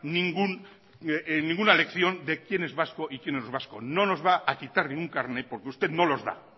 ninguna lección de quién es vasco y quién no es vasco no nos va a quitar ningún carnet porque usted no los da